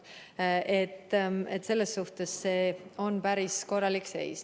Selles suhtes see on päris korralik seis.